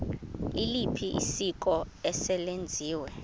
liliphi isiko eselenziwe